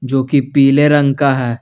जो कि पीले रंग का है।